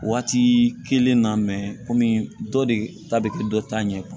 Waati kelen na komi dɔ de ta be kɛ dɔ ta ɲɛ